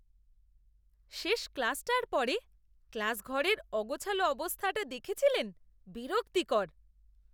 শেষ ক্লাসটার পরে ক্লাসঘরের অগোছালো অবস্থাটা দেখেছিলেন? বিরক্তিকর!